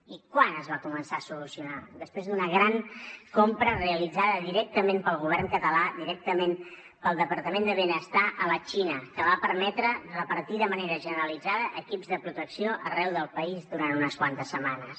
i quan es va començar a solucionar després d’una gran compra realitzada directament pel govern català directament pel departament de benestar a la xina que va permetre repartir de manera generalitzada equips de protecció arreu del país durant unes quantes setmanes